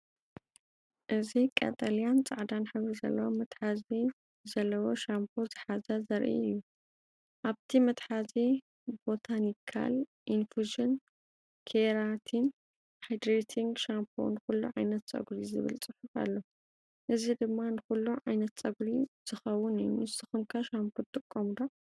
እዚ ቀጠልያን ጻዕዳን ሕብሪ መትሓዚ ዘለዎ ሻምፖ ዝሓዘ ዘርኢ እዩ። ኣብቲ መትሓዚ “ቦታኒካል ኢንፉዥን ኬራቲን ሃይድሬቲንግ ሻምፖ ንኹሉ ዓይነት ጸጉሪ” ዝብል ጽሑፍ ኣሎ። እዚ ድማ ንኹሉ ዓይነት ጸጉሪ ዝከውን እዩ። ንስኩም ከ ሻምፖ ትጥቀሙ ዶ?